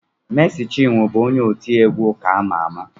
Meci Chinwo bụ onye otiegwu ụka ama ama